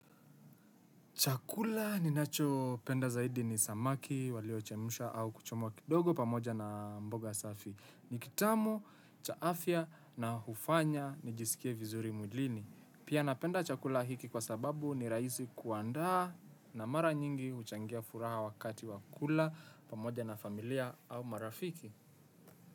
Chakula ninacho penda zaidi ni samaki, walio chemusha au kuchomwa kidogo pamoja na mboga safi. Ni kitamu, cha afia na hufanya nijisikie vizuri mwilini. Pia napenda chakula hiki kwa sababu ni raisi kuandaa na mara nyingi huchangia furaha wakati wa kula pamoja na familia au marafiki.